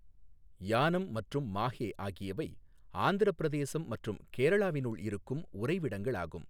யானம் மற்றும் மாஹே ஆகியவை ஆந்திரப் பிரதேசம் மற்றும் கேரளாவினுள் இருக்கும் உறைவிடங்களாகும்.